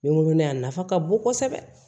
N wololen a nafa ka bon kosɛbɛ